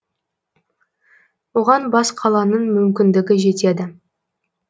оған бас қаланың мүмкіндігі жетеді